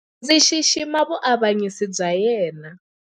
Ndzi xixima vuavanyisi bya yena.